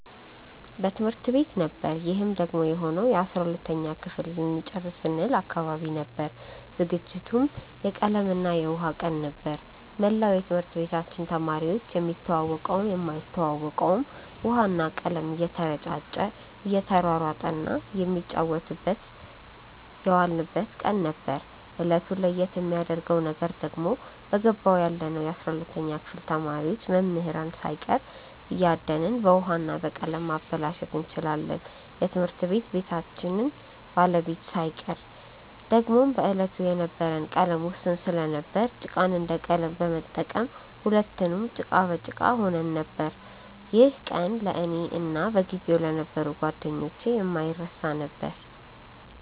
በትምህርት ቤት ነበር ይህም ደግሞ የሆነው የ12ተኛ ክፍል ልንጨርስ ስንል አካባቢ ነበር። ዝግጅቱም የቀለም እና የውሃ ቀን ነበር። መላው የትምህርት ቤታችን ተማሪዎች የሚተዋወቀውም የማይተዋወቀውም ውሃ እና ቀለም እየተረጫጨ እየተሯሯጠ እና እየተጫወትን የዋልንበት ቀን ነበር። እለቱን ለየት የሚያረገው ነገር ደግሞ በገባው ያለነው የ12ተኛ ክፍል ተማሪዎች መምህራንን ሳይቀር እያደንን በውሀ እና በቀለም ማበላሸት እንችላለን የትምህርት ቤታችንን ባለቤት ሳይቀር። ደግሞም በዕለቱ የነበረን ቀለም ውስን ስለነበር ጭቃን እንደ ቀለም በመጠቀም ሁለትንም ጭቃ በጭቃ ሆነን ነበር። ይህ ቀን ለእኔ እና በጊዜው ለነበሩ ጓደኞቼ የማይረሳ ነበር።